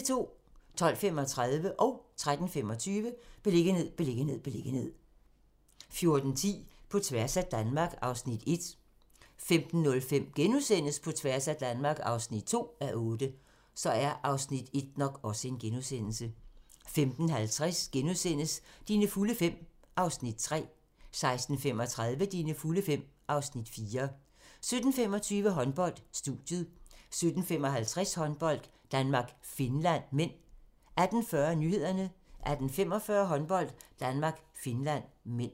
12:35: Beliggenhed, beliggenhed, beliggenhed 13:25: Beliggenhed, beliggenhed, beliggenhed 14:10: På tværs af Danmark (1:8) 15:05: På tværs af Danmark (2:8)* 15:50: Dine fulde fem (Afs. 3)* 16:35: Dine fulde fem (Afs. 4) 17:25: Håndbold: Studiet 17:55: Håndbold: Danmark-Finland (m) 18:40: Nyhederne 18:45: Håndbold: Danmark-Finland (m)